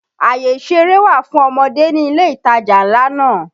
Àyè ìṣeré wà fún ọmọdé ní ilé ìtajà ńlá náà